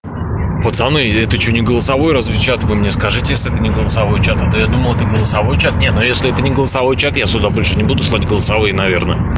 пацаны это что не голосовой разве чат вы мне скажите если это не голосовой чат а то я думал это голосовой чат не ну если это не голосовой чат я сюда больше не буду слать голосовые наверное